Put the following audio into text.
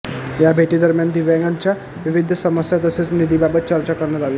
या भेटीदरम्यान दिव्यांगाच्या विविध समस्या तसेच निधीबाबत चर्चा करण्यात आली